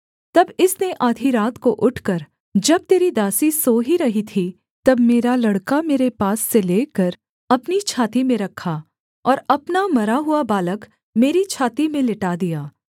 तब इसने आधी रात को उठकर जब तेरी दासी सो ही रही थी तब मेरा लड़का मेरे पास से लेकर अपनी छाती में रखा और अपना मरा हुआ बालक मेरी छाती में लिटा दिया